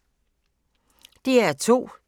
DR2